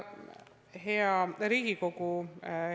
Hea Riigikogu!